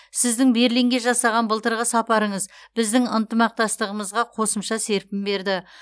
сіздің берлинге жасаған былтырғы сапарыңыз біздің ынтымақтастығымызға қосымша серпін берді